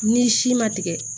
Ni si ma tigɛ